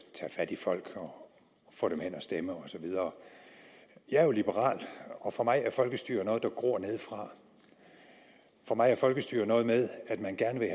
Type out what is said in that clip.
tage fat i folk og få dem hen og stemme og så videre jeg er jo liberal og for mig er folkestyret noget der gror nedefra for mig er folkestyre noget med at man gerne